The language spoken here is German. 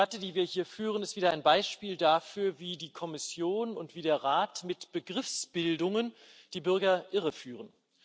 Diese Debatte, die wir hier führen, ist wieder ein Beispiel dafür, wie die Kommission und wie der Rat mit Begriffsbildungen die Bürger irreführen.